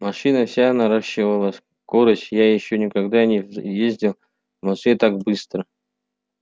машина вся наращивала скорость я ещё никогда не ездил в москве так быстро